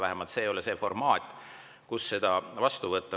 Vähemalt ei ole praegu meil käsil selline formaat, et seda saaks vastu võtta.